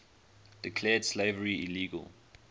declared slavery illegal